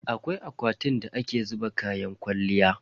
Akwai akwatin da ake zuba kayan kwalliya.